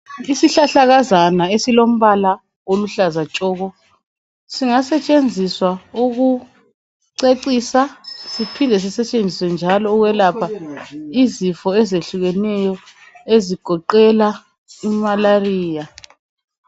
Isihlahlakazana esilombala oluhlaza tshoko singasetshenziswa ukucecisa lokwelapha izifo ezehlukeneyo ezigoqela imalariya